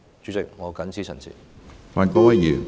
主席，我謹此陳辭。